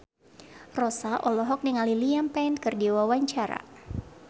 Rossa olohok ningali Liam Payne keur diwawancara